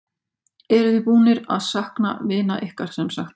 María: Eruð þið búnir að sakna vina ykkar, sem sagt?